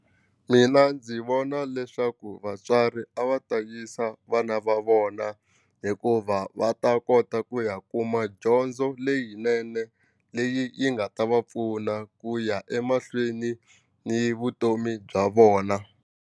Mina ndzi vona leswaku vatswari a va ta yisa vana va vona hikuva va ta kota ku ya kuma dyondzo leyinene leyi yi nga ta va pfuna ku ya emahlweni ni vutomi bya vona.